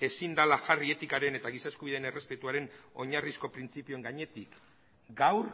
ezin dela jarri etikaren eta giza eskubideen errespetuaren oinarrizko printzipioen gainetik gaur